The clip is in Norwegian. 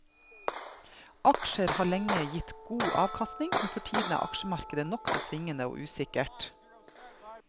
Aksjer har lenge gitt god avkastning, men for tiden er aksjemarkedet nokså svingende og usikkert.